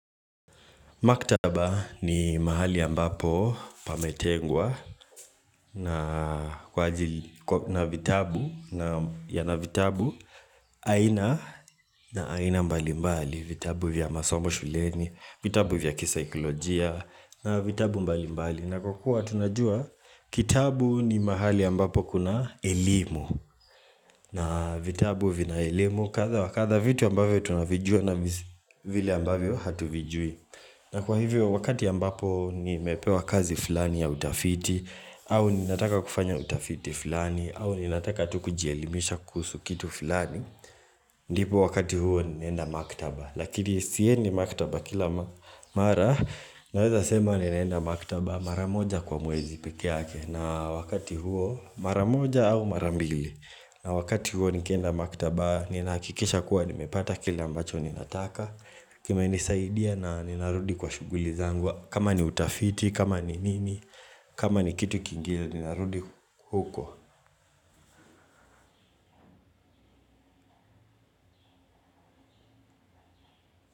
Maktaba ni mahali ambapo pametengwa na vitabu, naam, yana vitabu aina na aina mbali mbali, vitabu vya masombo shuleni, vitabu vya kisaikolojia na vitabu mbali mbali. Navyokuwa tunajua kitabu ni mahali ambapo kuna elimu na vitabu vina elimu kadha wa kadha vitu ambavyo tunavijua na vile ambavyo hatuvijui. Na kwa hivyo wakati ambapo nimepewa kazi fulani ya utafiti au ninataka kufanya utafiti fulani au ninataka tu kujielimisha kuhusu kitu fulani Ndipo wakati huo ninaenda maktaba Lakini siendi maktaba kila mara Naweza sema ninaenda maktaba mara moja kwa mwezi pekeake na wakati huo mara moja au mara mbili na wakati huo nikienda maktaba ninahakikisha kuwa nimepata kile ambacho ninataka Kimenisaidia na ninarudi kwa shughuli zangu kama ni utafiti, kama ni nini, kama ni kitu kingine ninarudi huko.